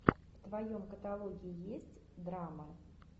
в твоем каталоге есть драма